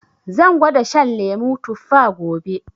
Zan gwada shan lemu tuffa gobe